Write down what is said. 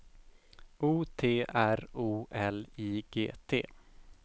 O T R O L I G T